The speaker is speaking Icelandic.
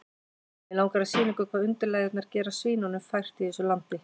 Mig langar að sýna ykkur hvað undirlægjurnar gera svínunum fært í þessu landi.